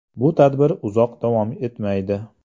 Bu tadbir uzoq davom etmaydi.